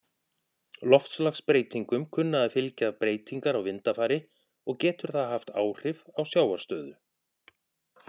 Loftslagsbreytingum kunna að fylgja breytingar á vindafari, og getur það haft áhrif á sjávarstöðu.